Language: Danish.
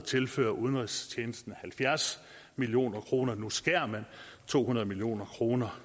tilføre udenrigstjenesten halvfjerds million kroner nu skærer man to hundrede million kroner